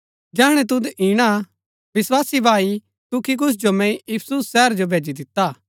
विस्वासी भाई तुखिकुस जो मैंई इफिसुस शहर जो भेजी दिता हा